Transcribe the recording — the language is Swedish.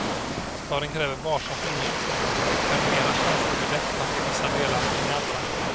Staden kräver varsam förnyelse och är mera känslig för detta i vissa delar än i andra.